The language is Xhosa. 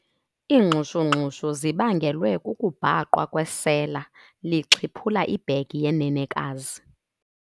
Iingxushungxushu zibangelwe kukubhaqwa kwesela lixhiphula ibhegi yenenekazi.